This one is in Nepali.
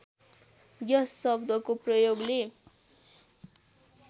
यस शब्दको प्रयोगले